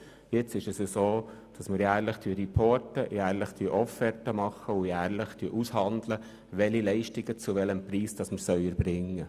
Jetzt erstatten wir jährlich Bericht, verfassen jedes Jahr Offerten und handeln aus, welche Leistungen wir zu welchem Preis erbringen.